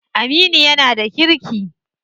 Aminu yana da kirki.